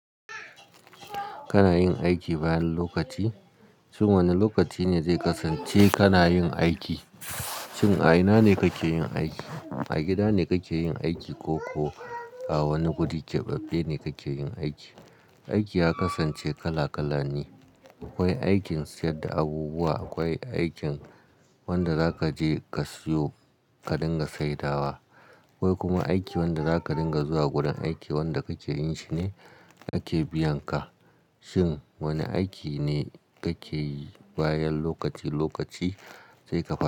Kana yin aiki bayan lokaci? Shin wane lokaci ne zai kasance kana yin aiki? Shin a ina ne kake yin aiki? A gida ne kake yin aiki ko, --ko a wani guri keɓaɓɓe ne kake yin aiki? Aiki ya kasance kala kala ne. Akwai aikin sayar da abubuwa, akwai aikin wanda za kaje ka siyo ka dinga saidawa. Akwai kuma aikin wanda za ka dinga zuwa gurin aiki wanda kake yin shi ne ake biyan ka. Shin wane aiki ne kake yi bayan lokaci--lokaci zai ka fa--?